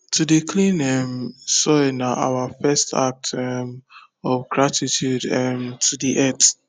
to dey clean um soil na our first act um of gratitude um to the earth